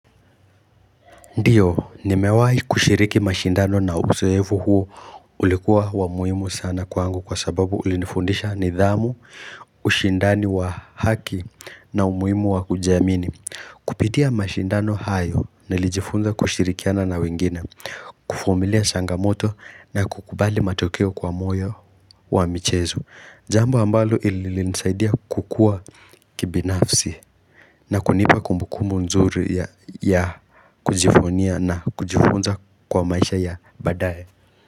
Ndiyo, nimewai kushiriki mashindano na uzoefu huo ulikuwa wamuhimu sana kwangu kwa sababu ulinifundisha nidhamu, ushindani wa haki na umuhimu wakujiamini. Kupitia mashindano hayo, nilijifunza kushirikiana na wengine, kufumilia sangamoto na kukubali matokeo kwa moyo wa michezo. Jambo ambalo ili nisaidia kukua kibinafsi na kunipa kumbuku mzuri ya kujifunia na kujifunza kwa maisha ya baadaye.